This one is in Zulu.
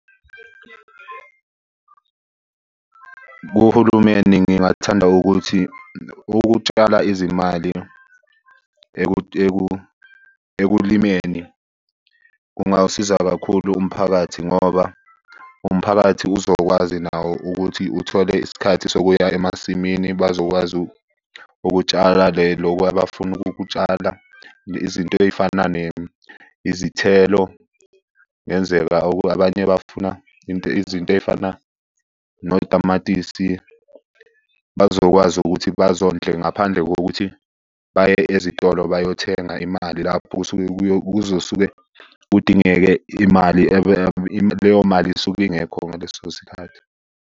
Kuhulumeni ngingathanda ukuthi ukutshala izimali ekulimeni kungawusiza kakhulu umphakathi ngoba umphakathi uzokwazi nawo ukuthi uthole isikhathi sokuya emasimini. Bazokwazi ukutshala loku abafuna ukukutshala. Izinto ey'fana ne izithelo. Ngenzeka abanye bafuna izinto ey'fana notamatisi. Bazokwazi ukuthi bazondle ngaphandle kokuthi baye ezitolo bayothenga imali lapho kusuke kuzosuke kudingeke imali . Leyo mali isuke ingekho ngaleso sikhathi.